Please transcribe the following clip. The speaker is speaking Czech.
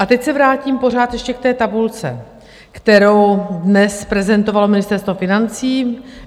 A teď se vrátím pořád ještě k té tabulce, kterou dnes prezentovalo Ministerstvo financí.